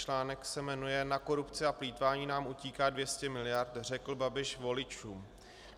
Článek se jmenuje Na korupci a plýtvání nám utíká 200 miliard, řekl Babiš voličům.